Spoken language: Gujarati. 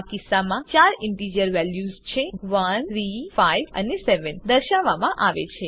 આ કિસ્સામાં ચાર ઈન્ટીજર વેલ્યુઝ છે 1 3 5 અને 7 દર્શાવવામાં આવે છે